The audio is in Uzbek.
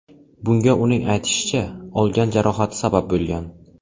Bunga uning aytishicha, olgan jarohati sabab bo‘lgan.